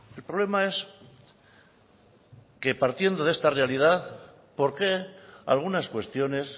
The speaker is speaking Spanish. el problema es que partiendo de esta realidad por qué algunas cuestiones